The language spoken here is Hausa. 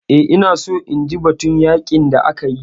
Eh, ina so inji batun yaƙin da ake yi